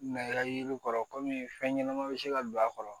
Nɛrɛ yiri kɔrɔ komi fɛn ɲɛnama bɛ se ka don a kɔrɔ